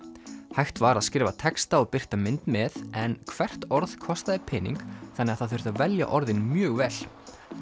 hægt var að skrifa texta og birta mynd með en hvert orð kostaði pening þannig að það þurfti að velja orðin mjög vel